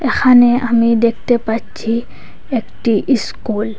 এখানে আমি দেখতে পাচ্ছি একটি ইস্কুল ।